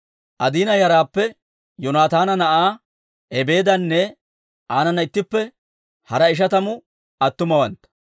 Adiina yaraappe Yoonataana na'aa Ebeedanne aanana ittippe hara ishatamu attumawantta,